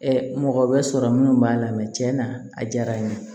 mɔgɔ bɛ sɔrɔ minnu b'a la tiɲɛna a diyara n ye